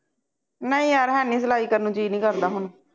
ਨਹੀਂ ਯਾਰ ਹੈਨੀ ਸਲਾਈ ਕਰਨ ਨੂੰ ਜੀਅ ਨਹੀਂ ਕਰਦਾ ਹੁਣ